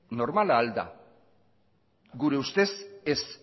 normala al da gure ustez ez